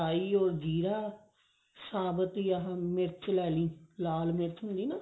or ਜੀਰਾ ਸਾਬਤੀ ਆਹ ਮਿਰਚ ਲੈ ਲਈ ਲਾਲ ਮਿਰਚ ਹੁੰਦੀ ਨਾ